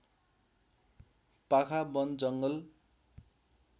पाखा वन जङ्गल